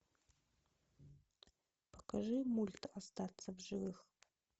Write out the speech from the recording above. покажи мульт остаться в живых